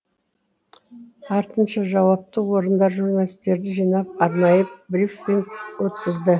артынша жауапты орындар журналистерді жинап арнайы брифинг өткізді